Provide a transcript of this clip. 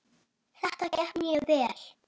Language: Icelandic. Þannig byrjaði það.